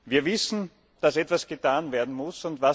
Wir wissen, dass etwas getan werden muss.